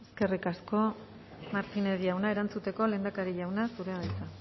eskerrik asko eskerrik asko martínez jauna erantzuteko lehendakari jauna zurea da hitza